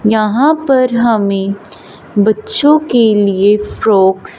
यहां पर हमें बच्चों के लिए फ्रॉक्स --